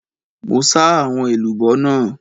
Mo sà àwọn èlùbọ́ náà.